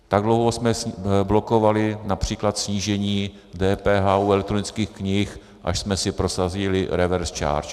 Tak dlouho jsme blokovali například snížení DPH u elektronických knih, až jsme si prosadili reverse charge.